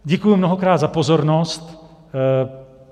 Děkuji mnohokrát za pozornost.